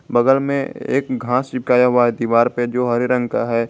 बगल में एक घास चिपकाए हुआ है दीवार पे जो हरे रंग का है।